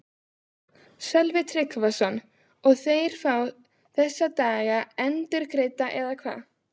Sölvi Tryggvason: Og þeir fá þessa daga endurgreidda eða hvað?